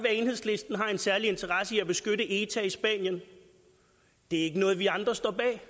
at enhedslisten har en særlig interesse i at beskytte eta i spanien det er ikke noget vi andre står bag